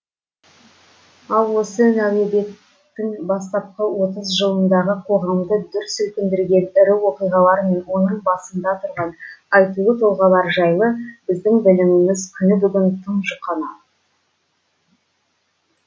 ал осы нәубеттің бастапқы отыз жылындағы қоғамды дүр сілкіндірген ірі оқиғалар мен оның басында тұрған айтулы тұлғалар жайлы біздің біліміміз күні бүгін тым жұқана